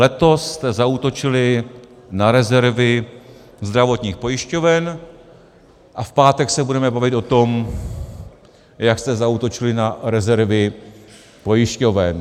Letos jste zaútočili na rezervy zdravotních pojišťoven a v pátek se budeme bavit o tom, jak jste zaútočili na rezervy pojišťoven.